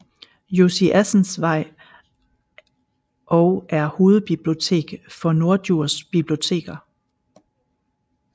Josiassensvej og er hovedbibliotek for Norddjurs Biblioteker